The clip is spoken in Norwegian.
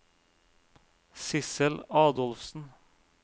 Sissel Adolfsen